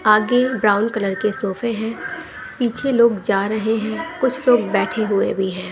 आगे brown colour के सोफे हैं पीछे लोग जा रहे हैं कुछ लोग बैठे हुए भी हैं।